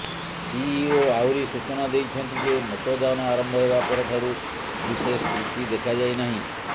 CEO ଆହୁରି ସୂଚନା ଦେଇଛନ୍ତି ଯେ ମତଦାନ ଆରମ୍ଭ ହେବା ପରଠାରୁ ବିଶେଷ ତ୍ରୁଟି ଦେଖାଯାଇ ନାହିଁ